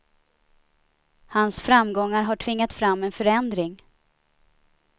Hans framgångar har tvingat fram en förändring.